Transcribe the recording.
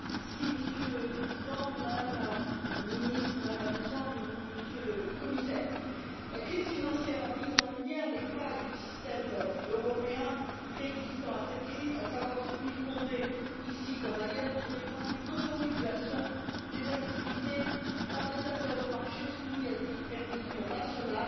Monsieur le Président, Madame la Ministre, Madame la Présidente, Monsieur le Commissaire, la crise financière a mis en lumière les failles du système européen préexistant à cette crise, à savoir celui fondé, ici comme ailleurs, sur des principes d'autorégulation des activités par les acteurs de marché soumis à des supervisions nationales